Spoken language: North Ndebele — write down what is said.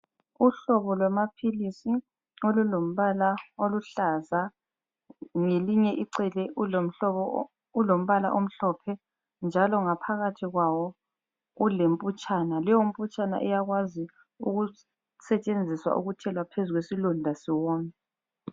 Uhlobo lwamaphilisi olulombala oluhlaza ngelinye icele ulombala omhlophe njalo ngaphakathi kwawo ulemputshana. Leyo mputshana iyakwazi ukusetshenziswa ukuthelwa phezu kwesilonda siwome.